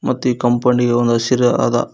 ಮತ್ತು ಈ ಕಾಂಪೌಂಡಿ ಗೆ ಒಂದು ಹಸಿರ ಆದ--